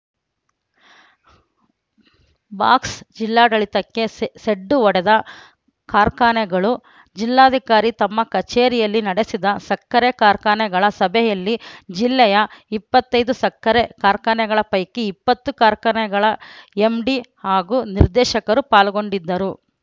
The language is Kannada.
ಬಾಕ್ಸ್‌ ಜಿಲ್ಲಾಡಳಿತಕ್ಕೆ ಸೆಸೆಡ್ಡು ಹೊಡೆದ ಕಾರ್ಖಾನೆಗಳು ಜಿಲ್ಲಾಧಿಕಾರಿ ತಮ್ಮ ಕಚೇರಿಯಲ್ಲಿ ನಡೆಸಿದ ಸಕ್ಕರೆ ಕಾರ್ಖಾನೆಗಳ ಸಭೆಯಲ್ಲಿ ಜಿಲ್ಲೆಯ ಇಪ್ಪತ್ತೈದು ಸಕ್ಕರೆ ಕಾರ್ಖಾನೆಗಳ ಪೈಕಿ ಇಪ್ಪತ್ತು ಕಾರ್ಖಾನೆಗಳ ಎಂಡಿ ಹಾಗೂ ನಿರ್ದೇಶಕರು ಪಾಲ್ಗೊಂಡಿದ್ದರು